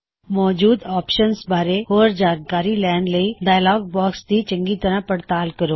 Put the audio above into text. ਮੌਜੂਦ ਆਪਸ਼ਨਜ ਬਾਰੇ ਹੋਰ ਜਾਣਕਾਰੀ ਲੈਣ ਲਈ ਡਾਇਅਲੌਗ ਬਾਕਸ ਦੀ ਚੰਗੀ ਤਰਹ ਪੜਤਾਲ ਕਰੋ